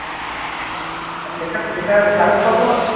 এটার price কত আছে ?